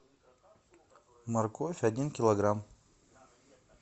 морковь один килограмм